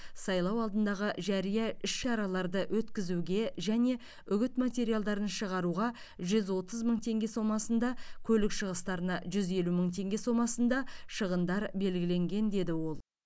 сайлау алдындағы жария іс шараларды өткізуге және үгіт материалдарын шығаруға жүз отыз мың теңге сомасында көлік шығыстарына жүз елу мың теңге сомасында шығындар белгіленген деді ол